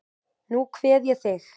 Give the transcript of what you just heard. Nú kveð ég þig.